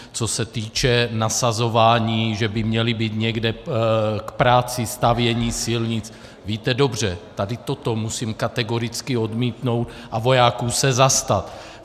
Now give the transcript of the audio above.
Co se týče nasazování, že by měli být někde k práci stavění silnic, víte dobře, tady toto musím kategoricky odmítnout a vojáků se zastat.